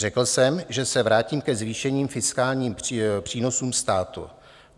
Řekl jsem, že se vrátím ke zvýšeným fiskálním přínosům státu.